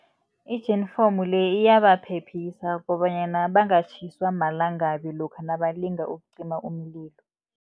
Ijifinomu le iyabaphephisa kobanyana bangatjhiswa malangabi lokha nabalinga ukucima umlilo.